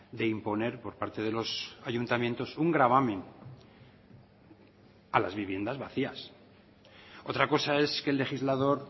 de imponer por parte de los ayuntamientos un gravamen a las viviendas vacías otra cosa es que el legislador